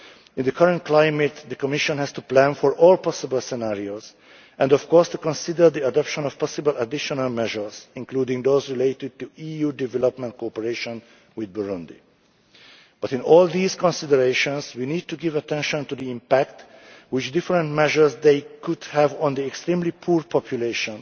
last month. In the current climate, the Commission has to plan for all possible scenarios and, of course, to consider the adoption of possible additional measures, including those related to EU development cooperation with Burundi. But in all these considerations, we need to give attention to the impact which different measures could have on the extremely poor